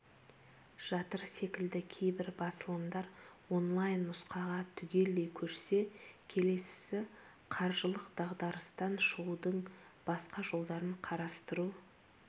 жатыр секілді кейбір басылымдар онлайн нұсқаға түгелдей көшсе келесісі қаржылық дағдарыстан шығудың басқа жолдарын қарастыру